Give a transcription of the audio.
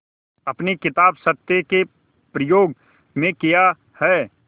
अपनी किताब सत्य के प्रयोग में किया है